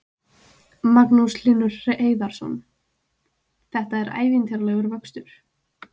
Magnús Hlynur Hreiðarsson: Þetta er ævintýralegur vöxtur?